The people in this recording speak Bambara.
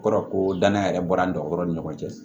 O kɔrɔ ko danaya yɛrɛ bɔra an tɔɔrɔ ni ɲɔgɔn cɛ